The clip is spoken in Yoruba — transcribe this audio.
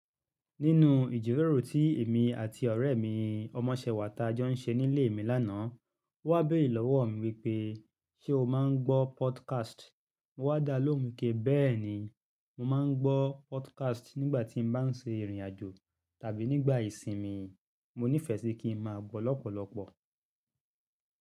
Nínu ìjíròrò tí èmi àti ọ̀rẹ́ mi, ọmọṣẹ́wàá tajọ ń ṣe nílé mi lánàá. Ó wá béèrè lọ́wọ́ mi wípé, "ṣé o má ń gbọ́ podcast?" Mo wá dalóhùn pé, "béèni, mo má ń gbọ́ podcast nígbà tí mo bá ń ṣe ìrìnàjò tàbí nígbà ìsinmi. Mo níìfẹ̀ sí kí ń máa gbọ́ lọ́pọ̀lọpọ̀."